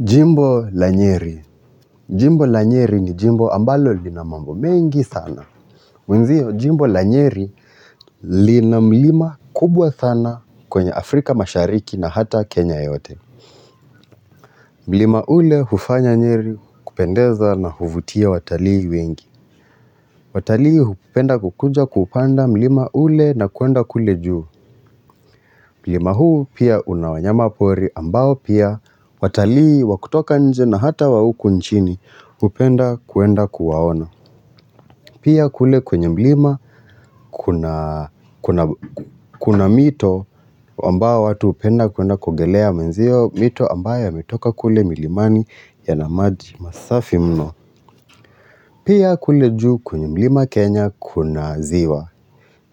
Jimbo la nyeri. Jimbo la nyeri ni jimbo ambalo lina mambo mengi sana. Mwenzio, jimbo la nyeri lina mlima kubwa sana kwenye Afrika mashariki na hata Kenya yote. Mlima ule hufanya nyeri kupendeza na huvutia watalii wengi. Watalii hupenda kukuja kupanda mlima ule na kuenda kule juu. Mlima huu pia una wanyamapori ambao pia watalii wa kutoka nje na hata wa huku nchini hupenda kuenda kuwaona. Pia kule kwenye mlima kuna mito ambayo watu hupenda kuenda kuogelea mwenzio, mito ambayo yametoka kule milimani yana maji masafi mno. Pia kule juu kwenye mlima Kenya kuna ziwa.